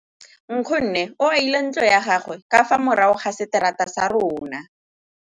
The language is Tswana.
Nkgonne o agile ntlo ya gagwe ka fa morago ga seterata sa rona.